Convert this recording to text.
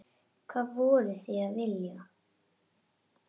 Hvað voru þeir að vilja?